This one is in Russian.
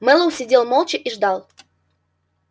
мэллоу сидел молча и ждал